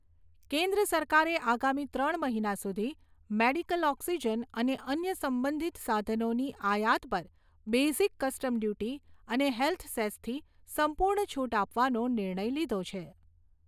કેન્દ્ર સરકારે આગામી ત્રણ મહિના સુધી મેડિકલ ઓક્સિજન અને અન્ય સંબંધિત સાધનોની આયાત પર બેઝીક કસ્ટમ ડ્યુટી અને હેલ્થ સેસથી સંપુર્ણ છુટ આપવાનો નિર્ણય લીધો છે.